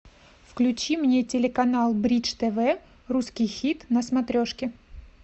включи мне телеканал бридж тв русский хит на смотрешке